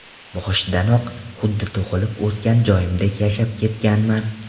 Boshidanoq xuddi tug‘ilib o‘sgan joyimdek yashab ketganman.